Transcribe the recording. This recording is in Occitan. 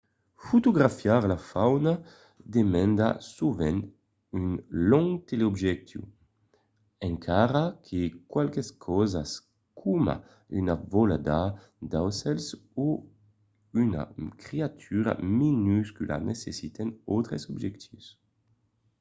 fotografiar la fauna demanda sovent un long teleobjectiu encara que qualques causas coma una volada d’aucèls o una creatura minuscula necessiten d’autres objectius